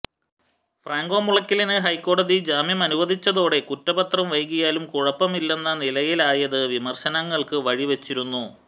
Franco മുളയ്ക്കലിന് ഹൈക്കോടതി ജാമ്യമനുവദിച്ചതോടെ കുറ്റപത്രം വൈകിയാലും കുഴപ്പമില്ലെന്ന നിലയായത് വിമര്ശനങ്ങള്ക്ക് വഴി വച്ചിരുന്നു